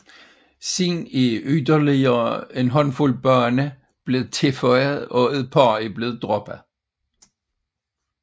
Siden er yderligere en håndfuld baner blevet tilføjet og et par er blevet droppet